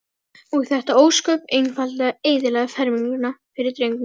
Og þetta ósköp einfaldlega eyðilagði ferminguna fyrir drengnum.